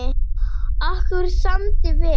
Okkur samdi vel.